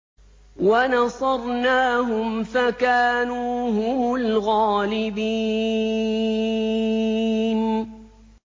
وَنَصَرْنَاهُمْ فَكَانُوا هُمُ الْغَالِبِينَ